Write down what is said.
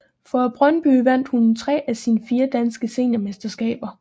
For Brøndby vandt hun tre af sine fire danske seniormesterskaber